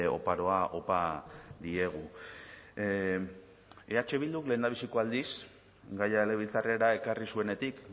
oparoa opa diegu eh bilduk lehendabiziko aldiz gaia legebiltzarrera ekarri zuenetik